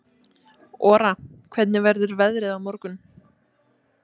Ora, hvernig verður veðrið á morgun?